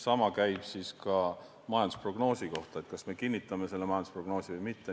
Sama käib ka majandusprognoosi kohta: kas me kinnitame selle majandusprognoosi või mitte.